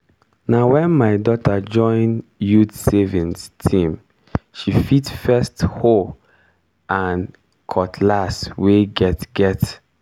na wen my daughter join youth savings team she fit first hoe and cutless wey get get.